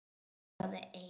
Hrópaði einn: